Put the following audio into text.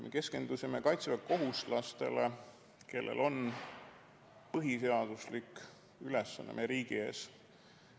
Me keskendusime kaitseväekohustuslastele, kellel on põhiseaduslik ülesanne meie riigi ees.